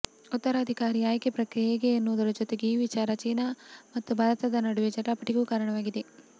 ಉತ್ತರಾಧಿಕಾರಿ ಆಯ್ಕೆ ಪ್ರಕ್ರಿಯೆ ಹೇಗೆ ಎನ್ನುವುದರ ಜತೆಗೆ ಈ ವಿಚಾರ ಚೀನಾ ಮತ್ತು ಭಾರತದ ನಡುವೆ ಜಟಾಪಟಿಗೂ ಕಾರಣವಾಗಿದೆ